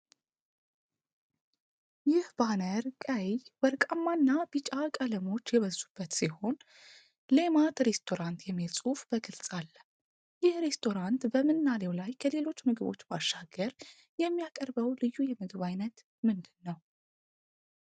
ይህ ባነር ቀይ፣ ወርቃማና ቢጫ ቀለሞች የበዙበት ሲሆን፣ 'ልማት ሬስቶራንት' የሚል ጽሑፍ በግልጽ አለ። ይህ ሬስቶራንት በምናሌው ላይ ከሌሎቹ ምግቦች ባሻገር የሚያቀርበው ልዩ የምግብ ዓይነት ምንድን ነው?